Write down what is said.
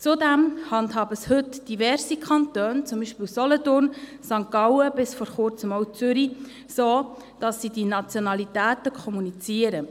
Zudem handhaben es heute diverse Kantone, beispielsweise Solothurn, St. Gallen und bis vor Kurzem auch Zürich, so, dass sie die Nationalitäten kommunizieren.